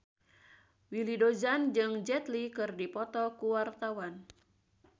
Willy Dozan jeung Jet Li keur dipoto ku wartawan